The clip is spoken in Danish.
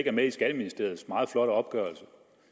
er med i skatteministeriets meget flotte opgørelse